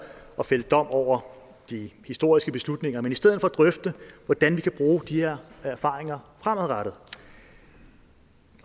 at fælde dom over de historiske beslutninger men i stedet for at drøfte hvordan vi kan bruge de her erfaringer fremadrettet